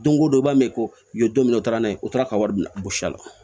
Don ko don i b'a mɛn ko i ye don min u taara n'a ye o taara ka wari minɛ gosi a la